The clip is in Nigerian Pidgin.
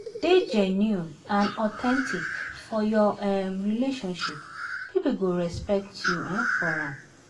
dey genuine and authentic for your um relationship, people go respect you um for am.